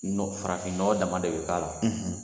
Nɔ Farafin nɔgɔ dama de bɛ k'a la.